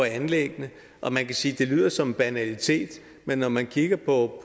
anlæggene og man kan sige at det lyder som en banalitet men når man kigger på